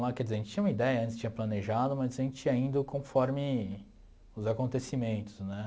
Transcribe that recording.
lá. Quer dizer, a gente tinha uma ideia, a gente tinha planejado, mas a gente ia indo conforme os acontecimentos, né?